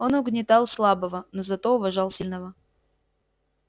он угнетал слабого но зато уважал сильного